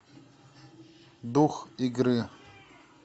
дух игры